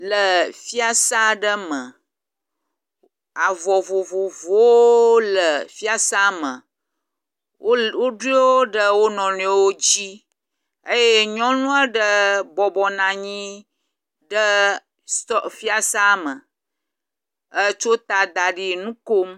Le fiasa aɖe me, avɔ vovovowo le fiasa me, wole woɖo wo ɖe wonɔnuiwo dzi eye nyɔnu aɖe bɔbɔ nɔ anyi ɖe sitɔ fiasa me etso ta da ɖi nu kom.